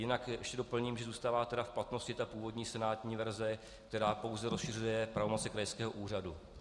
Jinak ještě doplním, že zůstává tedy v platnosti ta původní senátní verze, která pouze rozšiřuje pravomoci krajského úřadu.